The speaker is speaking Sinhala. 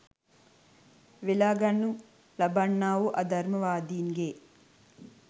වෙළාගනු ලබන්නා වූ අධර්මවාදීන්ගේ